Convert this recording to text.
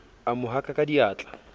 a mo haka ka diatla